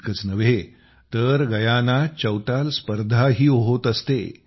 इतकंच नव्हे तर गयानात चौताल स्पर्धाही होत असते